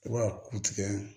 I b'a ku tigɛ